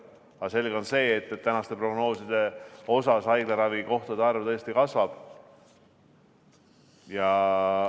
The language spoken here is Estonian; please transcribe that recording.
Aga selge on see, et tänaste prognooside valguses haiglaravikohtade vajadus kasvab.